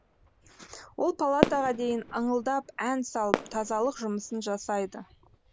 ол палатаға дейін ыңылдап ән салып тазалық жұмысын жасайды